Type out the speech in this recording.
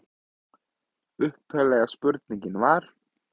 Upphaflega spurningin var: